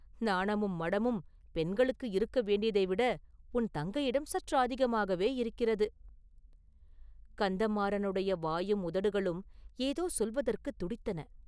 நாணமும் மடமும் பெண்களுக்கு இருக்க வேண்டியதைவிட உன் தங்கையிடம் சற்று அதிகமாகவேயிருக்கிறது.” கந்தமாறனுடைய வாயும் உதடுகளும் ஏதோ சொல்வதற்குத் துடித்தன.